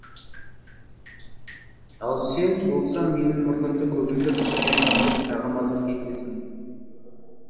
ал сен болсаң менің мұрнымды көгілдір түске айналдырып тағы мазақ етесің